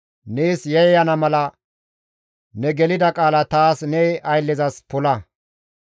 Nees yayyana mala ne gelida qaala taas ne ayllezas pola.